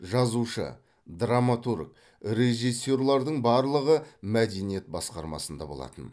жазушы драматург режиссерлердің барлығы мәдениет басқармасында болатын